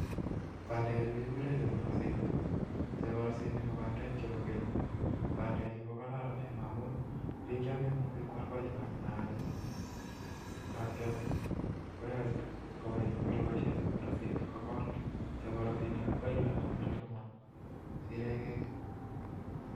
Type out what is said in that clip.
bandekchu kegure cheborosinik. Cheborsinik ko bandek chebo geny. Bandekchu kokararen amu bik chememuchi kwal baiwat ne kiale komuchi kobaisie cheborosinik gogol. Cheborosinik ak baiwat na kiale gomasiregei gi